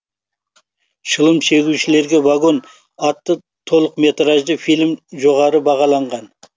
шылым шегушілерге вагон атты толықметражды фильмі жоғары бағаланған